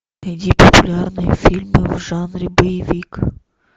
найди популярные фильмы в жанре боевик